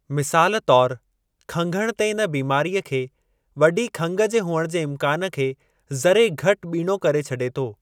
मिसाल तौरु खंघण ते इन बीमारीअ खे वॾी खंघि जे हुअण जे इम्कान खे ज़रे घटि ॿीणो करे छॾे थो।